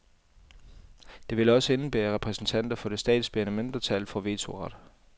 Det ville også indebære, at repræsentanter for det statsbærende mindretal får vetoret.